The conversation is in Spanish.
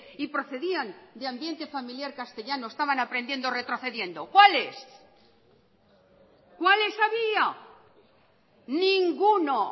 y procedían de ambiente familiar castellano estaban aprendiendo o retrocediendo cuáles cuáles había ninguno